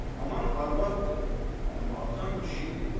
Anan arvaddır, amma atan kişi idi.